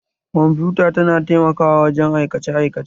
Kwamfuta tana taimakawa wajen aikace aikace